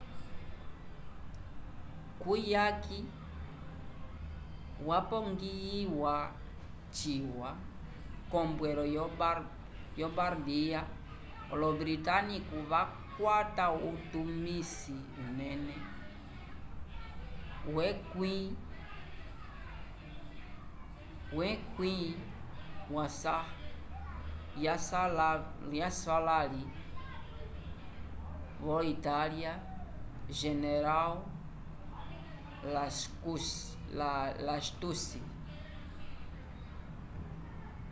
kuyaki yapongiyiwa ciwa k’ombwelo yo bardia olo-britânico vakwata utumisi unene wo 10º yaswalãli vo-itália general lastucci